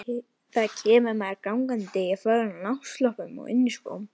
Kemur þá maður gangandi í fölgulum náttslopp og ilskóm.